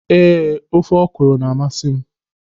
Ee, ofe ọkwụrụ na-amasị m.